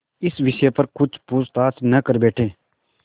इस विषय पर कुछ पूछताछ न कर बैठें